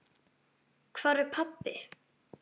Hvar er pabbi?